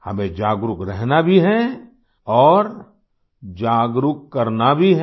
हमें जागरूक रहना भी हैऔर जागरूक करना भी है